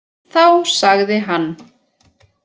Þá sagði hann.